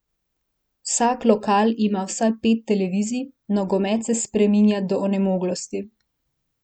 Vsak lokal ima vsaj pet televizij, nogomet se spremlja do onemoglosti.